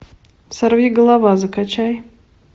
сорви голова закачай